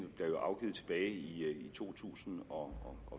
blev afgivet tilbage i to tusind og